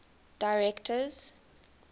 directors